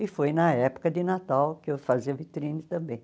E foi na época de Natal que eu fazia vitrine também.